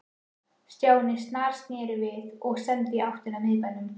Stjáni snarsneri við og stefndi í áttina að miðbænum.